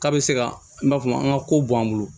K'a bɛ se ka i n'a fɔ an ka ko b'an bolo